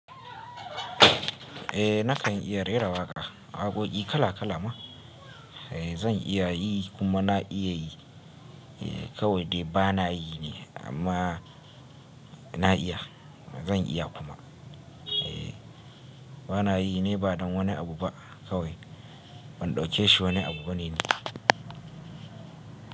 Eh na kan iya rera waƙa, waƙoki kala kala ma. Eh zan iya yi kuma na iya yi. Eh kawai dai ba na yi ne amma na iya. Zan iya kuma. Eh ba na yi ne ba don wani abu ba kawai ban ɗauke shi wani abu bane ne.